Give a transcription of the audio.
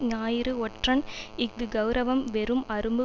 ஞாயிறு ஒற்றன் இஃது கெளரவம் வெறும் அரும்பு